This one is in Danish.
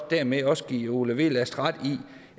dermed ikke også give ole wehlast ret i